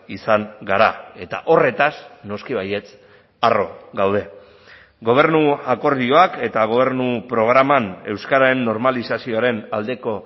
izan gara eta horretaz noski baietz harro gaude gobernu akordioak eta gobernu programan euskararen normalizazioaren aldeko